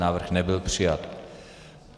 Návrh nebyl přijat.